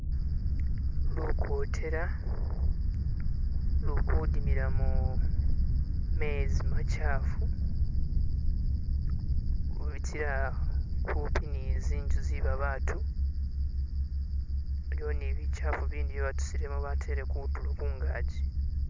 Lukotela luli kudimila mu mezi machaafu lutsya humpi ni zinzu zebabatu iliwo ni bichaafu ibindi bye batusilemo batele kutulo kungazi.